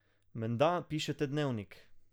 Menda pišete dnevnik.